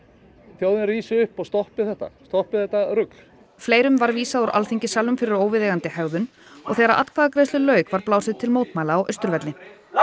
þjóðin rísi upp og stoppi þetta stoppi þetta rugl fleirum var vísað úr Alþingissalnum fyrir óviðeigandi hegðun og þegar atkvæðagreiðslu lauk var blásið til mótmæla á Austurvelli